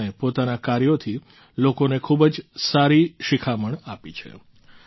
અને તેમણે પોતાનાં કાર્યોથી લોકોને ખૂબ જ સારી શિખામણ આપી છે